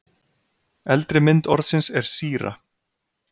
Eldri mynd orðsins er síra.